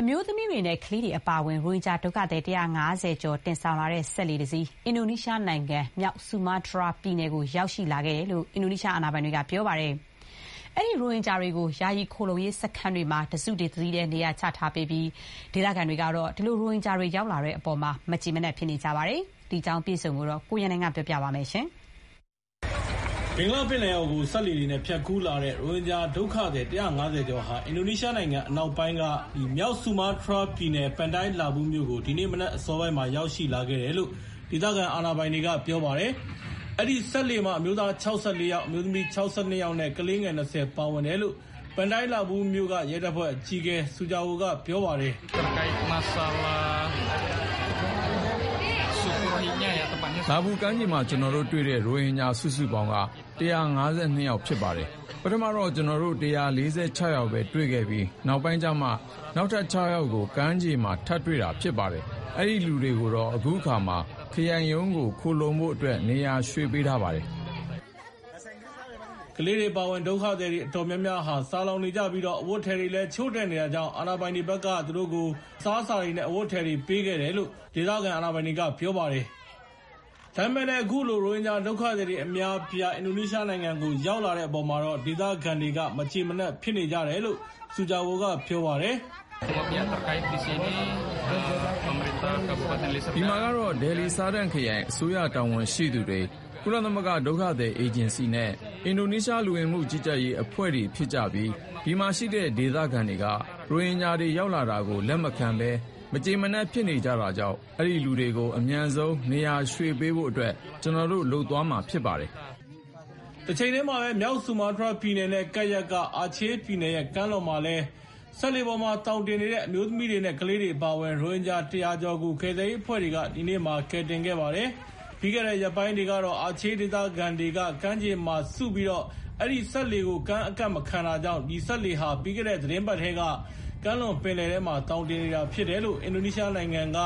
အမျိုးသမီးတွေနဲ့ ကလေးတွေအပါအဝင် ရိုဟင်ဂျာဒုက္ခသည် ၁၅၀ ကျော်တင်ဆောင်လာတဲ့ စက်လှေ တစင်း အင်ဒိုနီးရှားနိုင်ငံ မြောက်ဆူမားတြားပြည်နယ်ကို ရောက်ရှိလာခဲ့တယ်လို့ အင်ဒိုနီးရှား အာဏာ ပိုင်တွေက ပြောပါတယ်။ အဲဒီ ရိုဟင်ဂျာတွေကို ယာယီခိုလှုံရေးစခန်းမှာ စုပြီးတော့ နေရာချထား ပေးပြီး ဒေသခံတွေကတော့ ရိုဟင်ဂျာတွေရောက်လာတဲ့အပေါ်မှာ မကျေမနပ် ဒေါသထွက်နေကြ ပါတယ်။ ဒီအကြောင်းနဲ့ ပတ်သက်ပြီး အပြည့်အစုံကို ကိုရန်နိုင်က တင်ပြပေးထားပါတယ်။ ဘင်္ဂလားပင်လယ်အော်ကို စက်လှေတွေနဲ့ ဖြတ်ကူးလာတဲ့ ရိုဟင်ဂျာဒုက္ခသည် ၁၅၀ ကျော်ဟာ အင်ဒိုနီးရှားနိုင်ငံအနောက်ပိုင်းက မြောက်ဆူမားတြားပြည်နယ် Pantai Labu မြို့ကို ဒီနေ့မနက်ပိုင်းက ရောက်ရှိလာခဲ့တယ်လို့ ဒေသခံအာဏာပိုင်တွေက ပြောပါတယ်။ အဲဒီစက်လှေမှာ အမျိုးသား ၆၄ ယောက်၊ အမျိုးသမီး ၆၂ ယောက်နဲ့ ကလေးငယ် ၂၀ ပါဝင်တယ်လို့ Pantai Labu မြို့က ရဲတပ်ဖွဲ့အကြီးအကဲ Sujarwo က ပြောပါတယ်။ “Labu ကမ်းခြေမှာ ကျနော်တို့တွေ့တဲ့ ရိုဟင်ဂျာစုစုပေါင်းက ၁၅၂ ယောက် ဖြစ်ပါတယ်။ ပထမတော့ ကျနော်တို့ ၁၄၆ ယောက်ပဲတွေ့ခဲ့ပြီး နောက်ပိုင်းကျမှာ နောက်ထပ် ၆ ယောက်ကို ကမ်းခြေမှာ ထပ်တွေ့ တာ ဖြစ်ပါတယ်။ အဲဒီလူတွေကိုတော့ အခုအခါမှာ ခရိုင်ရုံးကိုခိုလှုံဖို့အတွက် နေရာရွှေ့ပေးထားပါ တယ်။” ကလေးတွေအပါအဝင် ဒုက္ခသည်အတော်များများဟာ ဆာလောင်နေကြပြီး အဝတ်အထည်တွေလည်း လိုအပ်နေတာကြောင့် အာဏာပိုင်တွေက အစားအစာတွေနဲ့အဝတ်အထည်တွေ ပေးခဲ့တယ်လို့ ဒေသခံ အာဏာပိုင်တွေက ပြောပါတယ်။ ဒါပေမဲ့ အခုလို ရိုဟင်ဂျာဒုက္ခသည်အများအပြား အင်ဒိုနီးရှားနိုင်ငံကို ရောက်လာတဲ့အပေါ်မှာ ဒေသခံတွေကတော့ မကျေမနပ်ဖြစ်နေကြတယ်လို့ Pantai Labu မြို့က ရဲတပ်ဖွဲ့အကြီးအကဲ Sujarwo က ပြောပါတယ်။ “ဒီမှာကတော့ Deli Serdang ခရိုင်အစိုးရတာဝန်ရှိသူတွေ၊ ကုလသမဂ္ဂဒုက္ခသည်အေဂျင်စီနဲ့ အင်ဒိုနီးရှား လူဝင်မှုကြီးကြပ်ရေးအဖွဲ့တွေဖြစ်ကြပြီး ဒီမှာရှိတဲ့ ဒေသခံတွေက ရိုဟင်ဂျာတွေ ရောက်လာတာကို လက်မခံဘဲ မကျေမနပ်ဖြစ်နေတာကြောင့် အဲဒီလူတွေကိုအမြန်ဆုံး နေရာရွှေ့ပေးဖို့အတွက် ကျနော်တို့ လုပ်သွားမှာဖြစ်ပါတယ်။” တချိန်တည်းမှာပဲ မြောက် ဆူမားတြားပြည်နယ်နဲ့ကပ်လျက် အာချေးပြည်နယ်ရဲ့ ကမ်းလွန်က စက်လှေပေါ်မှာသောင်တင်နေတဲ့ အမျိုးသမီးတွေနဲ့ ကလေးတွေအပါအဝင် ရိုဟင်ဂျာ ၁၀၀ ကျော် ကိုလည်း ကယ်ဆယ်ရေးအဖွဲ့တွေက ဒီနေ့မှာ ကယ်တင်ခဲ့ပါတယ်။ ပြီးခဲ့တဲ့ ရက်ပိုင်းတွေကတော့ အာချေးဒေသခံတွေက ကမ်းခြေမှာစုပြီး အဲဒီစက်လှေကို ကမ်းကပ်မခံတာကြောင့် အဲဒီစက်လှေဟာ ပြီးခဲ့တဲ့ သီတင်းပတ်ကတည်းက ကမ်းလွန်ပင်လယ်ထဲမှာ သောင်တင်နေတာဖြစ်တယ်လို့ အင်ဒိုနီးရှားနိုင်ငံက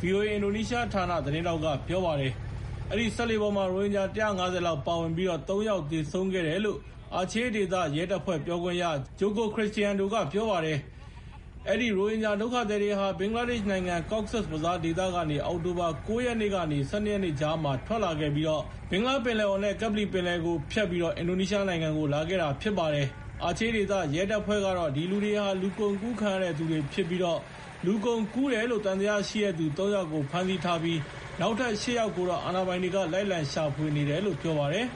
ဗွီအိုအေအင်ဒိုနီးရှားဌာန သတင်းထောက်က ပြောပါတယ်။ အဲဒီစက်လှေပေါ်မှာတော့ ရိုဟင်ဂျာ ၁၅၀ လောက်ပါဝင်ပြီး ၃ ယောက်သေဆုံးခဲ့တယ်လို့ အာချေးဒေသရဲတပ်ဖွဲ့ ပြောခွင့်ရ Joko Krisdiyanto က ပြောပါတယ်။ အဲဒီရိုဟင်ဂျာဒုက္ခသည်တွေဟာ ဘင်္ဂလားဒေ့ရှ်နိုင်ငံ Cox’s Bazar ဒေသကနေ အောက်တိုဘာ ၉ ရက်ကနေ ၁၂ ရက်ကြားမှာ ထွက်လာခဲ့ပြီး ဘင်္ဂလားပင်လယ်အော်နဲ့ ကပ္ပလီပင်လယ်ကိုဖြတ်ပြီး အင်ဒိုနီးရှားနိုင်ငံကို လာခဲ့တာဖြစ်ပါတယ်။ ဒီလူတွေဟာ လူကုန်ကူးခံရတဲ့သူတွေဖြစ်တယ်လို့ အာချေးဒေသရဲတပ်ဖွဲ့က ပြောထားပြီး လူကုန်ကူးတယ်လို့ သံသယရှိတဲ့သူ ၃ ယောက်ကို ဖမ်းဆီးထားပြီး နောက်ထပ် ၈ ယောက်ကိုတော့ အာဏာပိုင်တွေက လိုက်လံရှာဖွေနေတယ်လို့ ပြောပါတယ်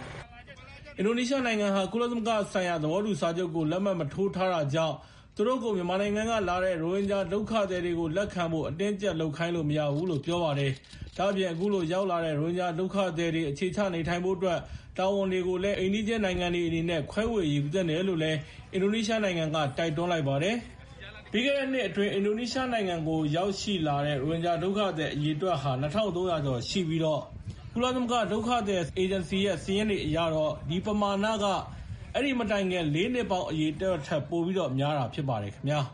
။ အင်ဒိုနီးရှားနိုင်ငံဟာ ကုလသမဂ္ဂဒုက္ခသည်ဆိုင်ရာ သဘောတူစာချုပ်ကို လက်မှတ်မထိုးထားတာ ကြောင့် သူတို့ကို မြန်မာနိုင်ငံကလာတဲ့ အဲဒီရိုဟင်ဂျာဒုက္ခသည်တွေကို လက်ခံဖို့ အတင်းအကြပ် လုပ်ခိုင်းလို့မရဘူးလို့ ပြောပါတယ်။ ဒါ့အပြင် အခုလို ရောက်လာတဲ့ ရိုဟင်ဂျာဒုက္ခသည်တွေ အခြေချနေထိုင်ဖို့အတွက် တာဝန်ကို အိမ်နီးချင်းနိုင်ငံတွေအနေနဲ့ ခွဲဝေယူသင့်တယ်လို့ တိုက်တွန်းလိုက်ပါတယ်။ ပြီးခဲ့တဲ့နှစ်အတွင်း အင်ဒိုနီးရှားနိုင်ငံကိုရောက်လာတဲ့ ရိုဟင်ဂျာဒုက္ခသည် ၂,၃၀၀ ကျော်ရှိပြီး ကုလသမဂ္ဂဒုက္ခသည်အေဂျင်စီရဲ့ စာရင်းတွေအရတော့ အဲဒီပမာဏဟာ အဲဒီမတိုင်ခင် ၄ နှစ်ပေါင်း အရေအတွက်ထက် ပိုများတာဖြစ်ပါတယ်ခင်ဗျာ